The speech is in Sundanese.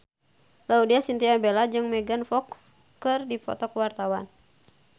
Laudya Chintya Bella jeung Megan Fox keur dipoto ku wartawan